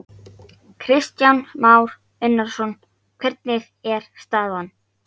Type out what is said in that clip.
Kristján Már Unnarsson: Hvernig er staðan?